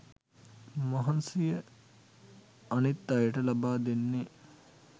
මහන්සිය අනිත් අයට ලබා දෙන්නෙ